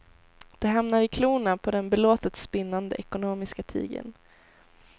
De hamnar i klorna på den belåtet spinnande ekonomiska tigern.